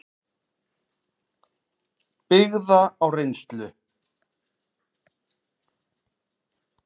byggða á reynslu.